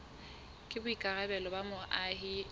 ke boikarabelo ba moahi e